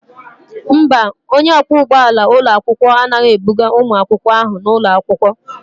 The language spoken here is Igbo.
Mba, onye ọkwọ ụgbọala ụlọakwụkwọ anaghị ebuga ụmụ akwụkwọ ahụ n'ụlọ akwụkwọ.